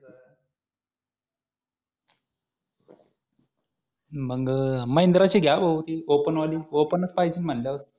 मग महिंद्राची घ्या भाऊ ती ओपन वाली ओपनच पाहिजे म्हणल्यावर